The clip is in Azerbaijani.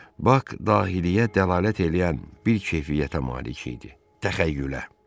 Bak dahiliyyə dəlalət eləyən bir keyfiyyətə malik idi: təxəyyülə.